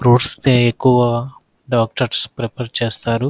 fruits ఎక్కువగా doctors prefer చేస్తారు --